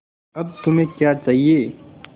अब तुम्हें क्या चाहिए